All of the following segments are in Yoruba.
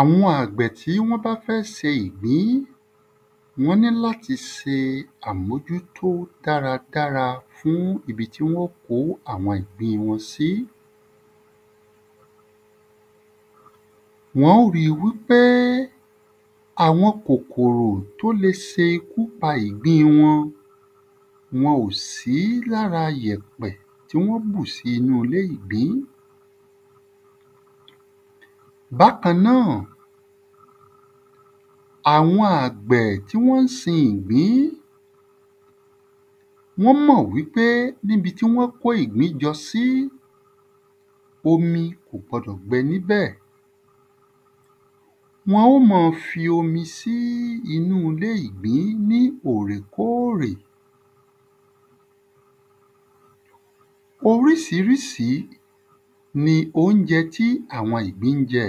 Àwọn àgbẹ̀ tí wọ́n bá fẹ́ sin ìgbìn wọ́n ní l’áti se àmójútó dáradára fún ibi tí wọn ó kó àwọn ìgbìn wọ́n sí Wọ́n ó ri wí pé àwon kòkòrò t’ó le se ikú pa ìgbín wọn wọn ò sí l'ára yẹ̀pẹ̀ tí wọ́n bù sí inú ilé ìgbín Bákan náà, àwọn àgbẹ̀ tí wọ́n sin ìgbìn wọ́n mọ̀ wí pé n’íbi tí wọ́n kó ìgbín jọ sí omi kò gbọdọ̀ gbẹ n'íbẹ̀. Wọ́n ó mọ fi omi sí inú ‘lé ìgbín ní òrè kórè Orísírísí ni óunjẹ tí àwon ìgbín ń jẹ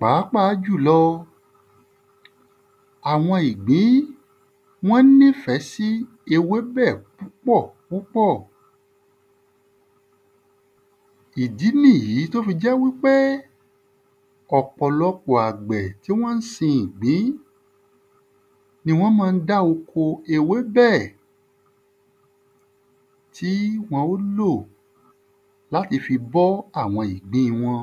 Pàápàá jùlọ, àwọn ìgbín Wọ́n ní 'fẹ́ sí ewébẹ̀ púpọ̀ púpọ̀. Ìdí n'ìyí t’ó fi jẹ́ wí pé, ọ̀pọ̀lọpọ̀ àgbẹ̀ tí wọ́n sin ìgbín ni wọ́n ma ń dá oko ewébẹ̀ ti wọ́n má ń lò l'áti fi bọ́ àwọn ìgbín wọn